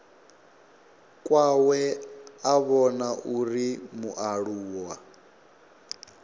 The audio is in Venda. kwawe a vhona uri mualuwa